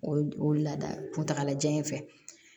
O o lada kuntagalajan in fɛ